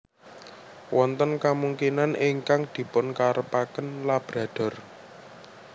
Wonten kamungkinan ingkang dipunkarepaken Labrador